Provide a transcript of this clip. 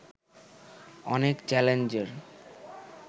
অনেক চ্যালেঞ্জের